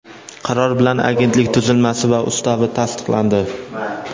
qaror bilan Agentlik tuzilmasi va Ustavi tasdiqlandi.